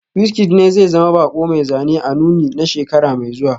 WizKid ne zai zama bako mai zane a nunin na shekara mai zuwa